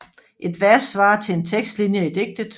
Et vers svarer til én tekstlinje i digtet